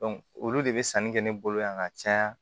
olu de be sanni kɛ ne bolo yan ka caya